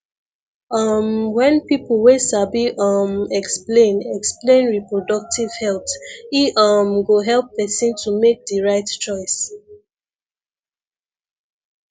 um wen people wey sabi um explain explain reproductive health e um go help person tomake di right choice